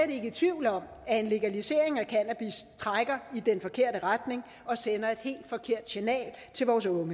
i tvivl om at en legalisering af cannabis trækker i den forkerte retning og sender et helt forkert signal til vores unge